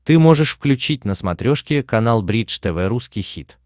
ты можешь включить на смотрешке канал бридж тв русский хит